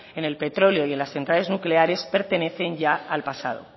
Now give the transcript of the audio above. en el petróleo y en las centrales nucleares pertenecen ya al pasado